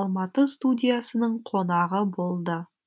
алматы студиясының қонағы болды